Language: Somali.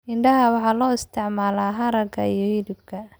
Idaha waxaa loo isticmaalaa haragga iyo hilibka.